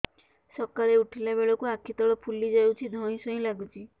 ସକାଳେ ଉଠିଲା ବେଳକୁ ଆଖି ତଳ ଫୁଲି ଯାଉଛି ଧଇଁ ସଇଁ ଲାଗୁଚି